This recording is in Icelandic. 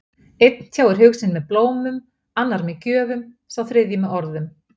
Einn tjáir hug sinn með blómum, annar með gjöfum, sá þriðji með orðum.